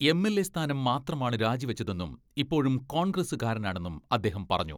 MLA സ്ഥാനം മാത്ര മാണ് രാജിവെച്ചതെന്നും ഇപ്പോഴും കോൺഗ്രസുകാരനാണെന്നും അദ്ദേഹം പറഞ്ഞു.